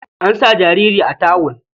An sa jariri a tawul.